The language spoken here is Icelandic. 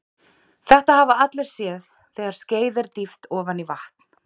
Þetta hafa allir séð þegar skeið er dýft ofan í vatn.